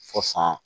Fɔ san